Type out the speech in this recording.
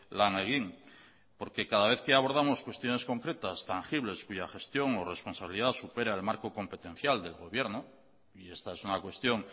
lan egin porque cada vez que abordamos cuestiones concretas tangibles cuya gestión o responsabilidad supera el marco competencial del gobierno y esta es una cuestión